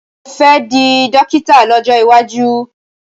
Mo fẹ́ di dọ́kítà lọ́jọ́ iwájú.